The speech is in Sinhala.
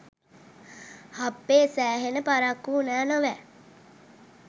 හප්පේ සෑහෙන පරක්කු වුණා නොවැ